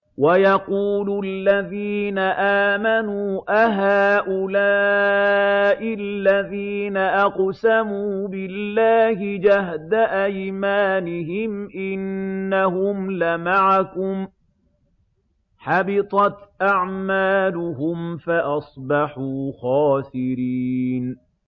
وَيَقُولُ الَّذِينَ آمَنُوا أَهَٰؤُلَاءِ الَّذِينَ أَقْسَمُوا بِاللَّهِ جَهْدَ أَيْمَانِهِمْ ۙ إِنَّهُمْ لَمَعَكُمْ ۚ حَبِطَتْ أَعْمَالُهُمْ فَأَصْبَحُوا خَاسِرِينَ